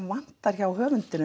vantar hjá höfundinum